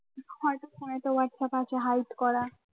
WhatsApp আছে hide করা